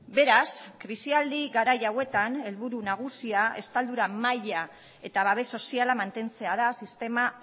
beraz krisialdi garai hauetan helburu nagusia estaldura maila eta babes soziala mantentzea da sistema